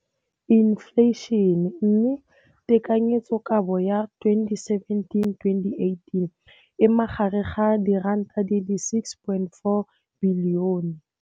Infleišene, mme tekanyetsokabo ya 2017 2018 e magareng ga 6.4 bilione.